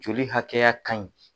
Joli hakɛya ka ɲi.